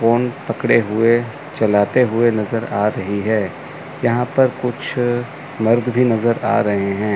Phone पकड़े हुए चलाते हुए नज़र आ रही है। यहां पर कुछ मर्द भी नज़र आ रहे हैं।